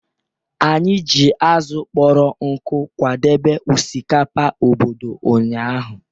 Anyị ji azụ̀ kpọrọ nkụ akwadebe osikapa obodo ụnyahụ.